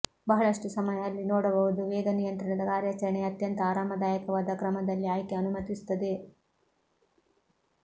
ಬಹಳಷ್ಟು ಸಮಯ ಅಲ್ಲಿ ನೋಡಬಹುದು ವೇಗ ನಿಯಂತ್ರಣದ ಕಾರ್ಯಾಚರಣೆಯ ಅತ್ಯಂತ ಆರಾಮದಾಯಕವಾದ ಕ್ರಮದಲ್ಲಿ ಆಯ್ಕೆ ಅನುಮತಿಸುತ್ತದೆ